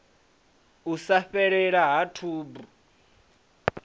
u sa fhelela ha tshubu